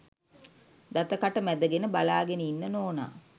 දත කට මැදගෙන බලාගෙන ඉන්න නෝනා.